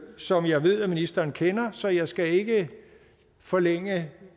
som jeg ved at ministeren kender så jeg skal ikke forlænge